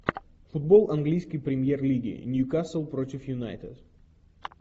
футбол английской премьер лиги ньюкасл против юнайтед